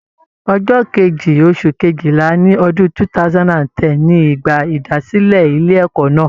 Ọjọ Kejì, oṣù Kejìlá ni ọdún 2010 ni ìgbà ìdásílẹ̀ ilé ẹ̀kọ́ náà.